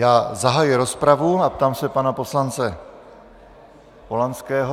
Já zahajuji rozpravu, a ptám se pana poslance Polanského...